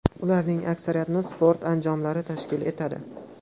Ularning aksariyatini sport anjomlari tashkil etadi.